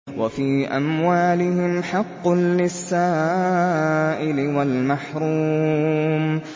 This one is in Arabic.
وَفِي أَمْوَالِهِمْ حَقٌّ لِّلسَّائِلِ وَالْمَحْرُومِ